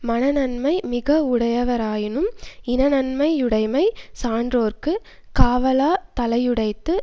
மன நன்மை மிக வுடையராயினும் இன நன்மை யுடைமை சான்றோர்க்குக் காவலாதலையுடைத்து